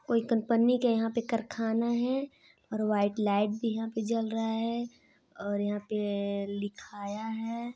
कोई कंपनी के यहाँ पे कारखाना है और वाइट लाइट भी यहाँ पर जल रहा है और यहाँ पे लिखाया है।